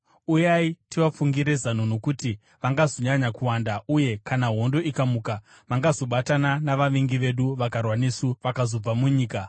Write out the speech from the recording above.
Uyai tivafungire zano nokuti vangazonyanya kuwanda uye kana hondo ikamuka, vangazobatana navavengi vedu, vakarwa nesu vakazobva munyika.”